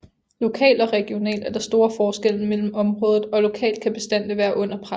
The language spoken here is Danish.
Lokalt og regionalt er der store forskelle mellem området og lokalt kan bestandene være under pres